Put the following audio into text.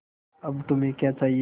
अब तुम्हें क्या चाहिए